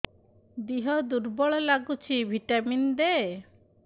ଦିହ ଦୁର୍ବଳ ଲାଗୁଛି ଭିଟାମିନ ଦେ